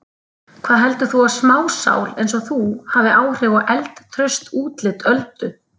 Hvað heldur þú að smásál einsog þú hafi áhrif á eldtraust útlit Öldu?